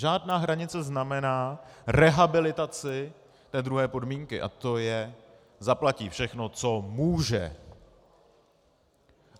Žádná hranice znamená rehabilitaci té druhé podmínky, a to je - zaplatí všechno, co může.